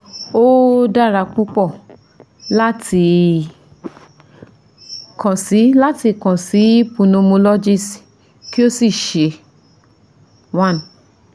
Ó dára púpọ̀ láti kàn sí láti kàn sí pulmonologist kí o sì ṣe 1